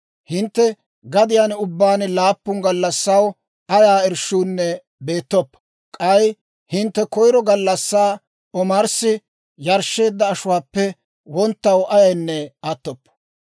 Hintte gadiyaan ubbaan laappun gallassaw ayaa irshshuunne beettoppo. K'ay hintte koyiro gallassaa omarssi yarshsheedda ashuwaappe wonttaw ayaynne attoppo.